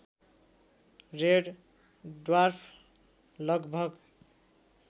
red dwarf लगभग